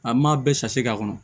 An m'a bɛɛ k'a kɔnɔ